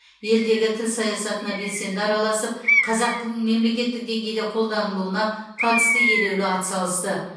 елдегі тіл саясатына белсенді араласып қазақ тілінің мемлекеттік деңгейде қолданылуына қатысты елеулі ат салысты